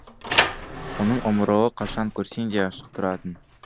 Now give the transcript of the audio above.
оның омырауы қашан көрсең де ашық тұратын